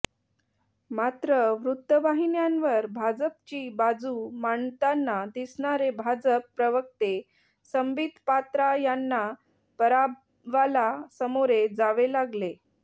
मात्र वृत्तवाहिन्यांवर भाजपची बाजू मांडताना दिसणारे भाजप प्रवक्ते संबित पात्रा यांना पराभवाला सामोरे जावे लागले